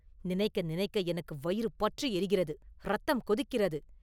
நினைக்க நினைக்க எனக்கு வயிறு பற்றி எரிகிறது; இரத்தம் கொதிக்கிறது.